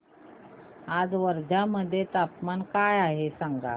आज वर्धा मध्ये तापमान काय आहे सांगा